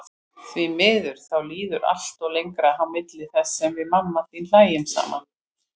Því miður, þá líður alltaf lengra á milli þess sem við mamma þín hlæjum saman.